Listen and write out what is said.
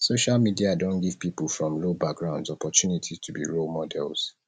social media don give pipo from low backgrounds opportunity to be role models